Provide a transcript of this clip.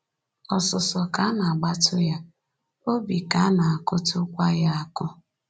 Ọsụsọ ka na-agbatụ ya, obi ka na-akụtụkwa ya akụ.